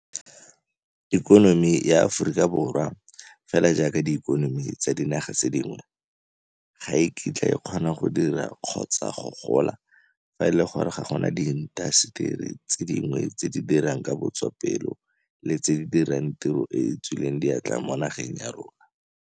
Ikonomi ya naga ya Aforika Borwa, fela jaaka diikonomi tsa dinaga tse dingwe, ga e kitla e kgona go dira, kgotsa gona go gola, fa e le gore ga go na diintaseteri tse dintsi tse di dirang ka botswapelo le tse di dirang tiro e e tswileng diatla mo nageng ya rona.